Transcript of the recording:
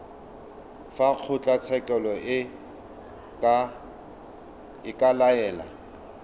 fa kgotlatshekelo e ka laela